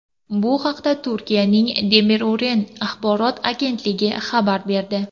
Bu haqda Turkiyaning Demiro‘ren axborot agentligi xabar berdi .